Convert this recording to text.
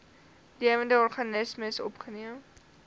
lewende organismes opgeneem